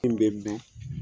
Min bɛ mɛn